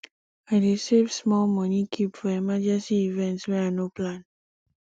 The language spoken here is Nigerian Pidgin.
i dey save small moni keep for emergency events wey i no plan